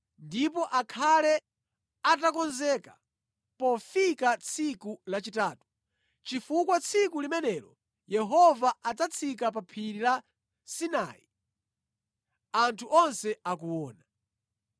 ndipo akhale atakonzeka pofika tsiku lachitatu, chifukwa tsiku limenelo Yehova adzatsika pa phiri la Sinai anthu onse akuona.